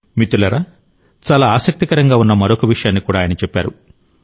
మిత్రులారా చాలా ఆసక్తికరంగా ఉన్న మరొక విషయాన్ని కూడా ఆయన చెప్పారు